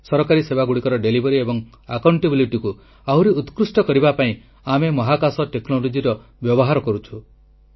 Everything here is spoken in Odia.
ସରକାରୀ ସେବାଗୁଡ଼ିକର ବିତରଣ ଏବଂ ଦାୟିତ୍ୱବୋଧକୁ ଆହୁରି ଉତ୍କୃଷ୍ଟ କରିବା ପାଇଁ ଆମେ ମହାକାଶ ଟେକ୍ନୋଲଜିର ବ୍ୟବହାର କରୁଛୁ